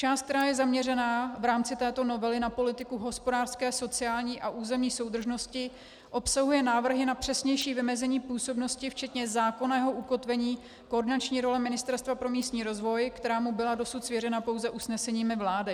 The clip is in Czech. Část, která je zaměřena v rámci této novely na politiku hospodářské, sociální a územní soudržnosti, obsahuje návrhy na přesnější vymezení působnosti včetně zákonného ukotvení koordinační role Ministerstva pro místní rozvoj, která mu byla dosud svěřena pouze usneseními vlády.